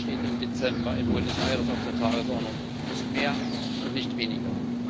Das steht im Dezember in Buenos Aires auf der Tagesordnung nicht mehr und nicht weniger.